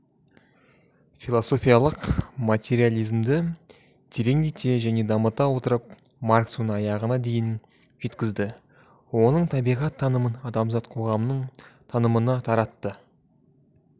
философиялық материализмді тереңдете және дамыта отырып маркс оны аяғына дейін жеткізді оның табиғат танымын адамзат қоғамының танымына таратты